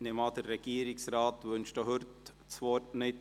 Ich nehme an, der Regierungsrat wünscht auch heute das Wort nicht.